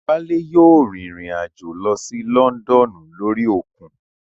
Wálé yóò rìn rìn àjò lọ sí Lọ́ndọ̀nù lórí òkun